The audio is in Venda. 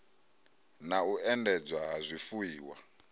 na u endedzwa ha zwifuiwa